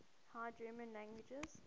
high german languages